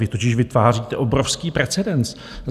Vy totiž vytváříte obrovský precedens.